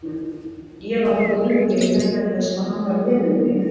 Ég varð góður leikari vegna þess hvað hann var lélegur leikari.